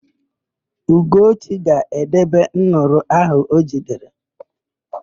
Ugochi ga-edebe nduru áhụ̀ o jidere.